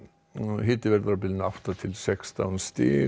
hiti verður á bilinu átta til sextán stig